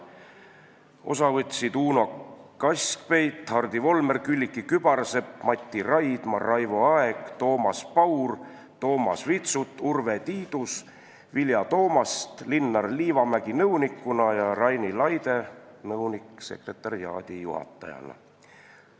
Osa võtsid veel Uno Kaskpeit, Hardi Volmer, Külliki Kübarsepp, Mati Raidma, Raivo Aeg, Toomas Paur, Toomas Vitsut, Urve Tiidus, Vilja Toomast, Linnar Liivamägi nõunikuna ja Raini Laide nõunik-sekretariaadijuhatajana.